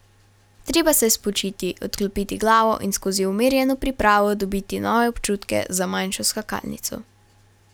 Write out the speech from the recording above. Treba se je spočiti, odklopiti glavo in skozi umirjeno pripravo dobiti nove občutke za manjšo skakalnico.